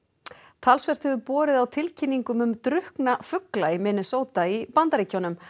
talsvert hefur borið á tilkynningum um drukkna fugla í Minnesota í Bandaríkjunum